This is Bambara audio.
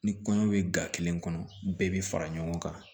Ni kɔɲɔ bɛ ga kelen kɔnɔ bɛɛ bi fara ɲɔgɔn kan